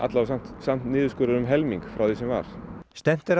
samt samt niðurskurður um helming frá því sem var stefnt er að